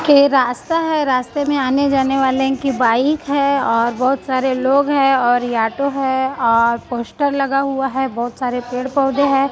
के रास्ता हैं रास्ते में आने जाने वालें की बाइक हैं और बहोत सारे लोग हैं और ये ऑटो हैं और पोस्टर लगा हुआ हैं बहोत सारे पेड़ पौधे हैं।